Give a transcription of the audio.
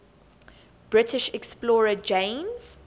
british explorer james